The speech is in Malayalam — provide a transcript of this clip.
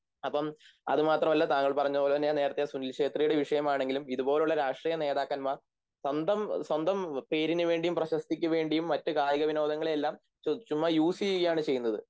അപ്പം അതുമാത്രമല്ല താങ്കൾ പറഞ്ഞപോലെ ഞാൻ നേരത്തെ സുനിൽ ഛേത്രിയുടെ വിഷയമാണെങ്കിലും ഇതുപോലുള്ള രാഷ്ട്രീയനേതാക്കന്മാർ സ്വന്തം സ്വന്തം പേരിനുവേണ്ടിയും പ്രശസ്തിക്കുവേണ്ടിയും മറ്റുകായികവിനോദങ്ങളെയെല്ലാം ചുമ്മാ യൂസ്ചെയ്യുകയാണ് ചെയ്യുന്നത്